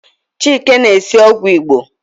Chike na-esi ogwu Igbo